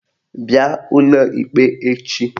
Bịa ụlọ ikpe echi!